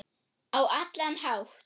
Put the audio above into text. Á allan hátt.